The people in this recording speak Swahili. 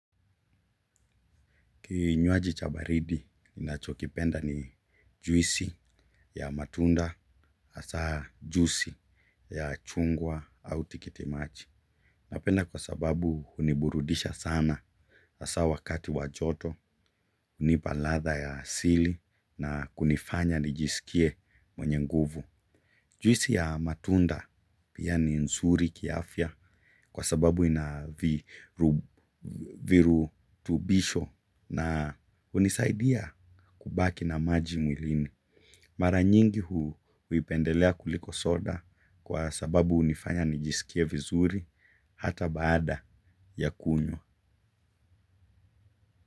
Kinywaji cha baridi ninacho kipenda ni juisi ya matunda hasa juisi ya chungwa au tikitimaji. Napenda kwa sababu uniburudisha sana asa wakati wa joto unipa latha ya sili na kunifanya nijisikie mwenye nguvu. Juisi ya matunda pia ni nzuri kiafya kwa sababu ina virutubisho na unisaidia kubaki na maji mwilini. Mara nyingi huipendelea kuliko soda kwa sababu unifanya nijisikie vizuri hata baada ya kunywa.